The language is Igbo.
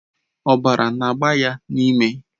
Ọbara na-agba ya n'imi.